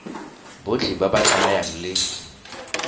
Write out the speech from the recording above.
botlhe ba ba tsamayang le